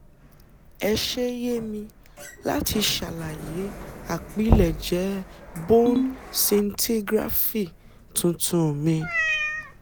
Ẹ ṣe yè mì láti ṣàlàyé àpilẹ̀jẹ́ bone scintigraphy tuntun mi